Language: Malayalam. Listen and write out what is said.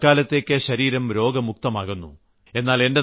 അതുകൊണ്ട് തൽക്കാലത്തേക്ക് ശരീരം രോഗമുക്തമാകുന്നു